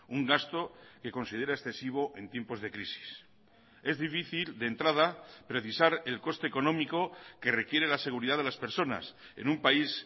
un gasto que considera excesivo en tiempos de crisis es difícil de entrada precisar el coste económico que requiere la seguridad de las personas en un país